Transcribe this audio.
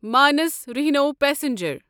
minus rhino passenger